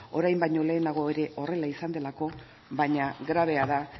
orain baino lehenago ere horrela izan delako baina grabea da